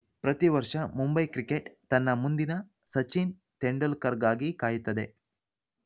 ಪ್ರತಿ ವರ್ಷ ಮುಂಬೈ ಕ್ರಿಕೆಟ್‌ ತನ್ನ ಮುಂದಿನ ಸಚಿನ್‌ ತೆಂಡುಲ್ಕರ್‌ಗಾಗಿ ಕಾಯುತ್ತದೆ